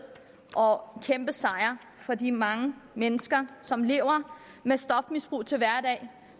og kæmpesejr for de mange mennesker som lever med stofmisbrug til hverdag